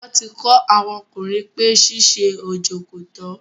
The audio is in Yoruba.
wọ́n ti kọ́ àwọn ọkùnrin pé ṣíṣe ojo kòtọ́.